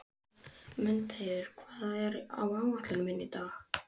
Mundheiður, hvað er á áætluninni minni í dag?